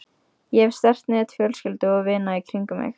Ég hef sterkt net fjölskyldu og vina í kringum mig.